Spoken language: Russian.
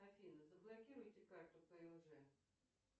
афина заблокируйте карту пмж